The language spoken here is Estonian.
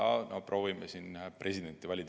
No proovime siin presidenti valida.